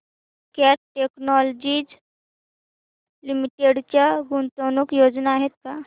cat technologies limited च्या गुंतवणूक योजना आहेत का